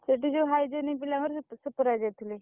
ସେଠି ଯୋଉ hygienic ପିଲାଙ୍କର supervisor ଥିଲି।